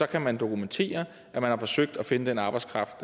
kan man dokumentere at man har forsøgt at finde den arbejdskraft